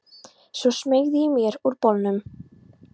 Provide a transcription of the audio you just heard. Svo smeygði ég mér úr bolnum.